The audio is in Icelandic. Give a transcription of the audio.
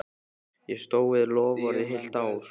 Ég stóð við það loforð í heilt ár.